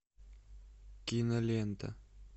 кинолента